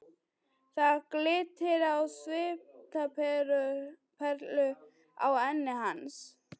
Það glittir á svitaperlur á enni hans.